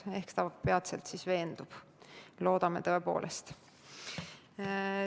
Ehk ta peatselt veendub – loodame tõepoolest.